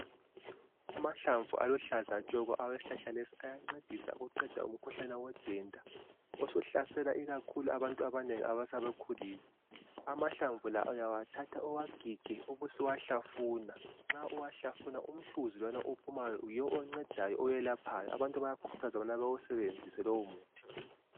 Amahlamvu aluhlaza tshoko awesihlahla lesi ayancedisa ukuqeda umkhuhlane wodenda, osuhlasela ikakhulu abantu abanengi asebekhulile .Amahlamvu la uyawathatha uwagige ubusuwahlafuna ,nxa uwahlafuna umhluzi lowana ophumayo yiwo oncedayo owelaphayo abantu bayakhuthazwa ukubana bawusebenzise lowo muthi.